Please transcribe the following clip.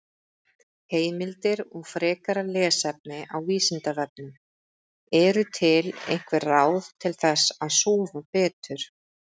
Heimildir og frekara lesefni á Vísindavefnum: Eru til einhver ráð til þess að sofa betur?